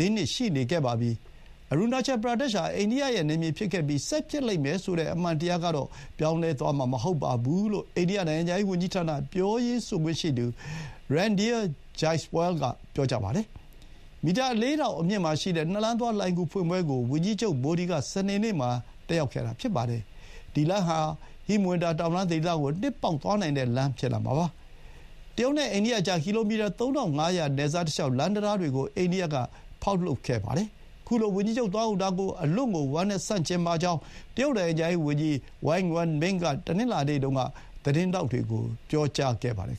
၄ နှစ်ရှိခဲ့ပါပြီ။ အရူနာချယ် ပရာဒက်ရှ်ဟာ အိန္ဒိယရဲ့နယ်မြေဖြစ်ခဲ့ပြီး ဆက်ဖြစ်လိမ့်မယ်ဆိုတဲ့ အမှန်တရားကတော့ ပြောင်းသွားမှာ မဟုတ်ပါဘူးလို့ အိန္ဒိယ နိုင်ငံခြားရေးဝန်ကြီးဌာန ပြောရေးဆိုခွင့်ရှိသူ Randhir Jaiswal က ပြောပါတယ်။ မီတာ ၄,၀၀၀ အမြင့်မှာရှိတဲ့ ၂ လမ်းသွား လှိုဏ်ဂူဖွင့်ပွဲကို ဝန်ကြီးချုပ်မိုဒီက စနေနေ့မှာ တက်ရောက်ခဲ့တာ ဖြစ်ပါတယ်။ ဒီလမ်းဟာ ဟိမဝန္တာတောင်တန်းဒေသ ကို နှစ်ပေါက်သွားနိုင်တဲ့လမ်းဖြစ်လာမှာပါ။ တရုတ်နဲ့အိန္ဒိယကြား ကီလိုမီတာ ၃,၅၀၀ နယ်စပ်တလျှေက် လမ်းတံတားတွေကို အိန္ဒိယက ဖောက်လုပ်ခဲ့ပါတယ်။ ခုလို ဝန်ကြီးချုပ်သွားရောက်တာကို အလွန့်ကို ဝမ်းနည်းဆန့်ကျင်ပါကြောင်း တရုတ် နိုင်ငံခြားရေးဝန်ကြီးဌာန Wang Wenbin က တနင်္လာနေ့တုန်းက သတင်းထောက်တွေကို ပြောခဲ့ပါတယ်